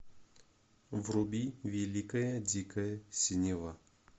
вруби великая дикая синева